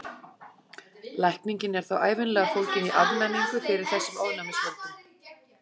Lækningin er þá ævinlega fólgin í afnæmingu fyrir þessum ofnæmisvöldum.